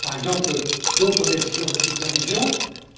Par exemple, d'autres décisions de supervision